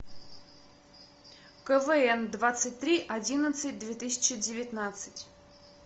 квн двадцать три одиннадцать две тысячи девятнадцать